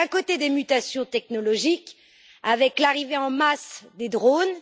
D'un côté, des mutations technologiques, avec l'arrivée en masse des drones.